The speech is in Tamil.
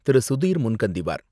திரு.சுதீர் முன்கந்திவார்,